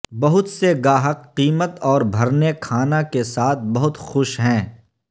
بہت سے گاہک قیمت اور بھرنے کھانا کے ساتھ بہت خوش ہیں